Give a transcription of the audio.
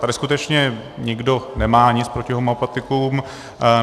Tady skutečně nikdo nemá nic proti homeopatikům.